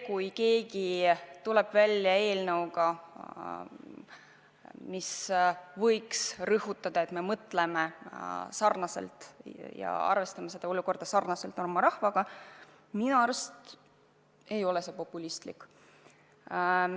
Kui keegi tuleb välja eelnõuga, mis soovib rõhutada, et me mõtleme sarnaselt rahvaga ja arvestame kujunenud olukorda sarnaselt rahvaga, siis minu arust see ei ole populistlik.